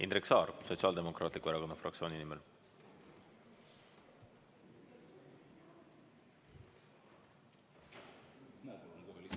Indrek Saar Sotsiaaldemokraatliku Erakonna fraktsiooni nimel.